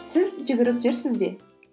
сіз жүгіріп жүрсіз бе